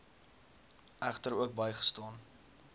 egter ook bygestaan